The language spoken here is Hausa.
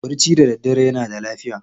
Barci da daddare yana da lafiya.